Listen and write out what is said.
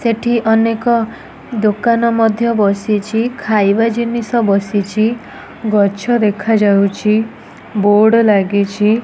ସେଠି ଅନେକ ଦୋକାନ ମଧ୍ୟ ବସିଚି ଖାଇବା ଜିନିଷ ବସିଚି ଗଛ ଦେଖା ଯାଉଚି ବୋର୍ଡ ଲାଗିଚି ।